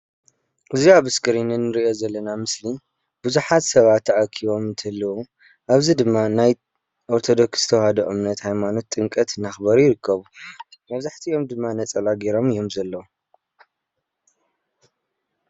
እዚ ኣብ እስክሪን እንርእዮ ዘለና ምስሊ ብዙሓት ሰባት ተኣኪቦም እንትህልዉ ኣብዚ ድማ ናይ ኦርቶዶክስ ተዋህዶ እምነት ሃይማኖት ጥምቀት እንዳክበሩ ይርከቡ። መብዛሕቲኦም ድማ ነፀላ ገይሮም እዮም ዘለው።